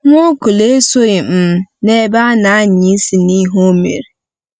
Nwaokolo esoghị um n’ebe a na-anya isi n’ihe o mere.